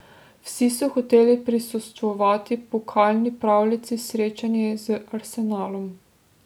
Vsi so hoteli prisostvovati pokalni pravljici, srečanju z Arsenalom.